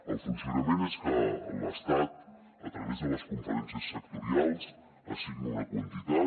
el funcionament és que l’estat a través de les conferències sectorials assigna una quantitat